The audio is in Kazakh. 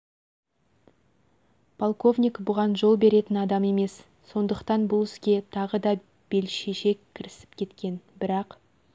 полковник бұған жол беретін адам емес сондықтан бұл іске тағы да бел шеше кірісіп кеткен бірақ